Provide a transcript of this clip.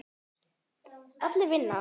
Allir vinna.